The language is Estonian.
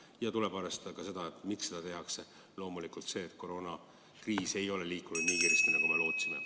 Samuti tuleb arvestada seda, miks – loomulikult sellepärast, et koroonakriis ei ole leevenenud nii kiiresti, nagu me lootsime.